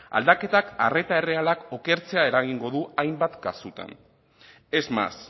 aldaketak arreta errealak okertzea eragingo du hainbat kasuetan es más